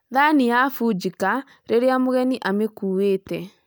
Thaani yafũnjika rĩrĩa mũgeni amekuuĩte